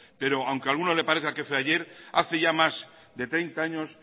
pero aunque a alguno le parezca que fue ayer hace ya más de treinta años